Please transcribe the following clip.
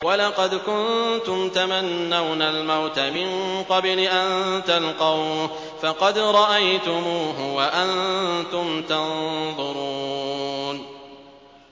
وَلَقَدْ كُنتُمْ تَمَنَّوْنَ الْمَوْتَ مِن قَبْلِ أَن تَلْقَوْهُ فَقَدْ رَأَيْتُمُوهُ وَأَنتُمْ تَنظُرُونَ